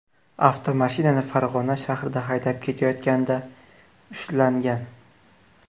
avtomashinani Farg‘ona shahrida haydab ketayotganida ushlangan.